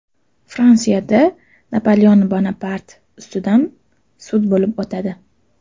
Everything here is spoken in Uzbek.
Fransiyada Napoleon Bonapart ustidan sud bo‘lib o‘tadi.